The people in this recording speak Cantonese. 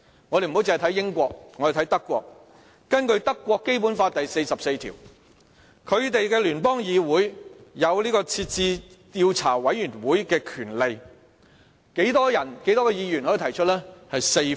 我們不單看英國，我們也看看德國，根據德國的《基本法》第四十四條，德國的聯邦議會有成立調查委員會的權力，需要多少名議員提出呢？